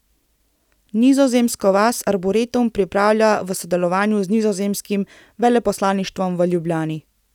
Nizozemsko vas arboretum pripravlja v sodelovanju z Nizozemskim veleposlaništvom v Ljubljani.